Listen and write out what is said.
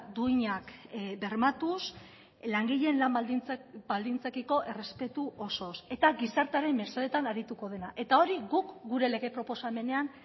duinak bermatuz langileen lan baldintzekiko errespetu osoz eta gizartearen mesedetan arituko dena eta hori guk gure lege proposamenean